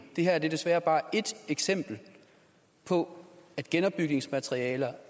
det her er desværre bare ét eksempel på at genopbygningsmaterialer